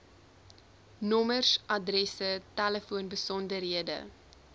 nommers adresse telefoonbesonderhede